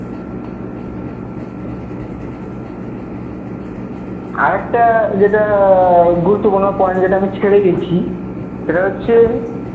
আরেকটা যেটা আহ গুরুত্বপূর্ণ point যেটা আমি ছেড়ে গেছি সেটা হচ্ছে